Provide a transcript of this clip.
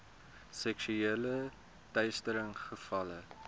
seksuele teistering gevalle